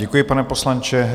Děkuji, pane poslanče.